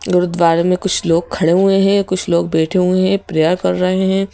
गुरुद्वार में कुछ लोग खड़े हुए हैं कुछ लोग बैठे हुए हैं प्रेयर कर रहे हैं।